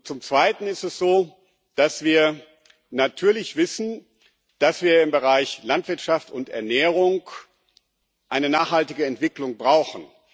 Zum Zweiten ist es so, dass wir natürlich wissen, dass wir im Bereich Landwirtschaft und Ernährung eine nachhaltige Entwicklung brauchen.